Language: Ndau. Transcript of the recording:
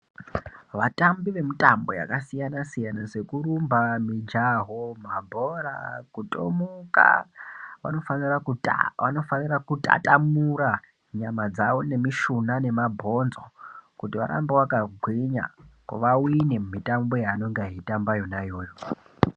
Vatambi vemitambo yakasiyana-siyana, sekurumba, mijaho, mabhora, kutomukaa, vanofanira kuta, vanofanira kutatamura nyama dzawo, nemishuna nemabhonzo, kuti varambe vakagwinya, vawine mumitambo yaanonga eitamba yona iyoyo.